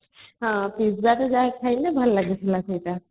ପୂଜାରେ ଯାହା ଖାଇଲେ ଭଲ ଲାଗିଥିଲା ସେଇଟା